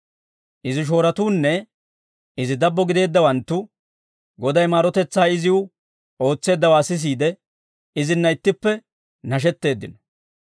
Izi shooratuunne izi dabbo gideeddawanttu, Goday maarotetsaa iziw ootseeddawaa sisiide izinna ittippe nashetteeddino.